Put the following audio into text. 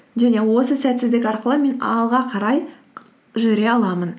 және осы сәтсіздік арқылы мен алға қарай жүре аламын